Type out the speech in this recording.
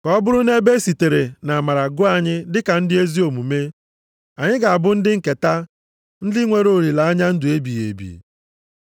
ka ọ bụrụ na ebe e sitere nʼamara gụọ anyị dịka ndị ezi omume, anyị ga-abụ ndị nketa, ndị nwere olileanya ndụ ebighị ebi.